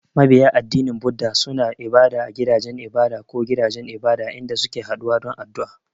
Mabiya addinin Buddah suna yin ibada a gidajen ibada ko gidajen ibada, inda suke haɗuwa don addu’a.